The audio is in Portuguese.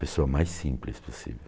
Pessoa mais simples possível.